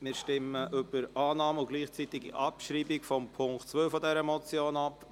Wir stimmen über Annahme und gleichzeitige Abschreibung vom Punkt 2 dieser Motion ab.